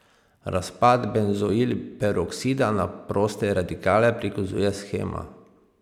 Razpad benzoil peroksida na proste radikale prikazuje shema.